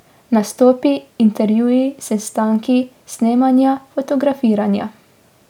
Nastopi, intervjuji, sestanki, snemanja, fotografiranja.